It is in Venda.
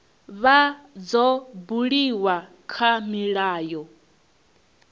vha dzo buliwa kha milayo